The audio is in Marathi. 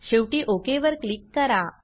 शेवटी ओक वर क्लिक करा